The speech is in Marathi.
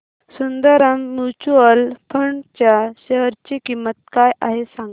सुंदरम म्यूचुअल फंड च्या शेअर ची किंमत काय आहे सांगा